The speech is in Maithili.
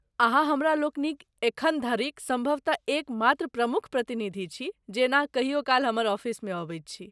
अहाँ हमरालोकनिक एखन धरिक सम्भवतः एकमात्र प्रमुख प्रतिनिधि छी, जे एना कहियो काल हमर ऑफिसमे अबैत छी।